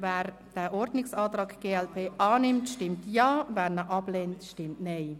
Wer den Ordnungsantrag der glp annimmt, stimmt Ja, wer diesen ablehnt, stimmt Nein.